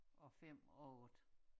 Og 5 og 8